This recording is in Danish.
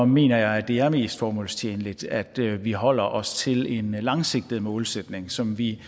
mener jeg at det er mest formålstjenligt at vi holder os til en langsigtet målsætning som vi